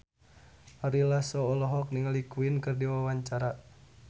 Ari Lasso olohok ningali Queen keur diwawancara